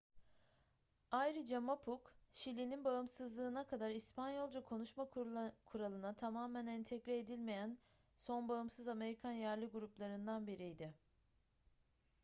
ayrıca mapuche şili'nin bağımsızlığına kadar i̇spanyolca-konuşma kuralına tamamen entegre edilmeyen son bağımsız amerikan yerli gruplarından biriydi